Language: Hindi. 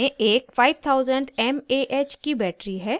इसमें एक 5000 mah की battery है